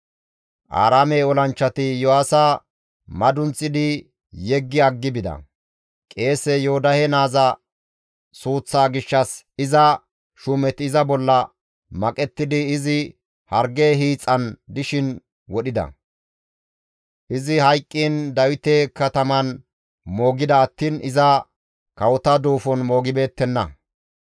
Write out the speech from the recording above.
Aaraame olanchchati Iyo7aasa madunththidi yeggi aggi bida; qeese Yoodahe naaza suuththa gishshas iza shuumeti iza bolla maqettidi izi harge hiixan dishin wodhida; izi hayqqiin Dawite Kataman moogida attiin iza kawota duufon moogibeettenna.